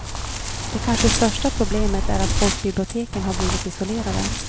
Det kanske största problemet är att folkbiblioteken har blivit isolerade.